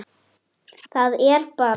Það er bara.